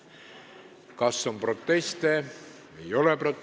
Kas on proteste?